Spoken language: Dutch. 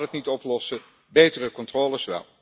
Dat gaat het niet oplossen, betere controles wel.